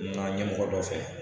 N ɲɛmɔgɔ dɔ fɛ.